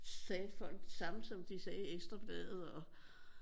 Sagde folk det samme som de sagde i Ekstrabladet og